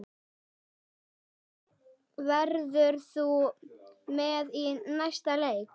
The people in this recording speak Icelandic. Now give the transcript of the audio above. Verður þú með í næsta leik?